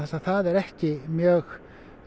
að það er ekki mjög